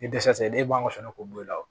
Ni dɛsɛ n'e m'a sɔnna k'o bɔ i la